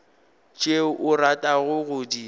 tšeo o ratago go di